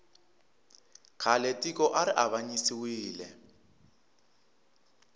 khale tiko ari avanyisiwile